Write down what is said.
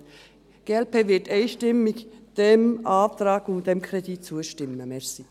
Die glp wird dem Antrag und dem Kredit einstimmig zustimmen.